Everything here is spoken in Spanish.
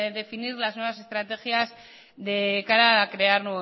definir las nuevas estrategias de cara a crear